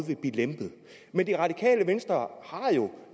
ville blive lempet men det radikale venstre har jo